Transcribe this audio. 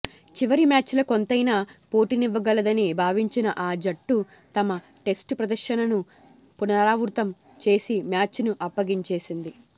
చివరి మ్యాచ్లో కొంతైనా పోటీనివ్వగలదని భావించిన ఆ జట్టు తమ టెస్టు ప్రదర్శనను పునరావృతం చేసి మ్యాచ్ను అప్పగించేసింది